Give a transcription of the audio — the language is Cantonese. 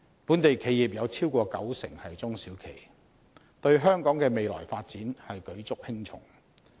本地企業超過九成是中小企，對香港的未來發展舉足輕重。